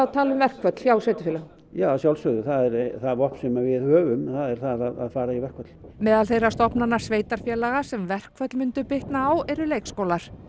tala um verkföll hjá sveitarfélögunum já að sjálfsögðu það er það vopn sem við höfum það er það að fara í verkföll meðal þeirra stofnana sveitarfélaga sem verkföll myndu bitna á eru leikskólar